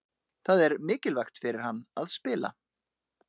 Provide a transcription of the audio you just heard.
Það er mikilvægt fyrir hann að spila.